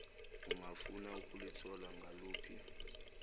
ungafuna ukulithola ngaluphi